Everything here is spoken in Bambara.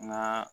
N ga